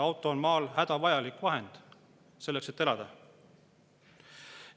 Auto on maal hädavajalik vahend selleks, et elada.